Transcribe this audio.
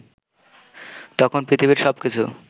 তখন পৃথিবীর সবকিছু